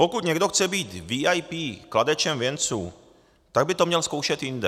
Pokud někdo chce být VIP kladečem věnců, tak by to měl zkoušet jinde.